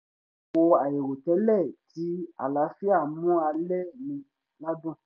kò àìrò tẹ́lẹ̀ ti àlàáfíà mú alẹ́ mi ládùn